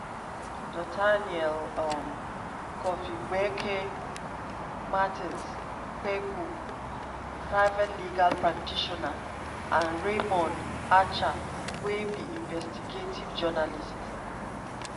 nathaniel um kofi boakye martin kpebu (private legal practitioner) and raymond archer wey be investigative journalist.